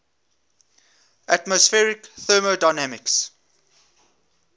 atmospheric thermodynamics